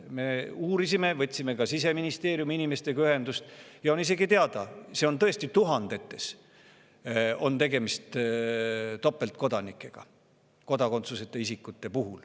Me uurisime, võtsime ka Siseministeeriumi inimestega ühendust ja on isegi teada, et tõesti, tuhandete kodakondsuseta isikute puhul on tegemist topeltkodanikega.